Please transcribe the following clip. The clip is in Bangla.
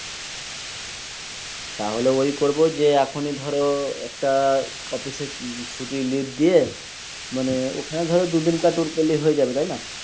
তাহলে ওই করবো যে এখনই ধরো একটা অফিসের ছুটির leave দিয়ে মানে ওখানে দুদিন কার tour করলে হয়ে যাবে তাই না?